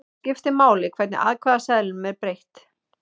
Þá skiptir máli hvernig atkvæðaseðlinum er breytt.